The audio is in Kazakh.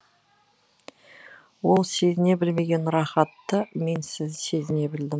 ол сезіне білмеген рахатты мен сезіне білдім